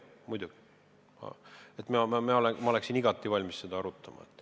Muidugi, ma oleksin igati valmis seda arutama.